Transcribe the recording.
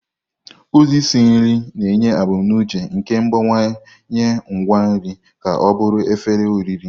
Ụzọ isi nri na-enye ebumnuche nke ịgbanwe ngwa nri ka ọ bụrụ efere oriri.